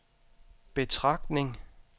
betragtning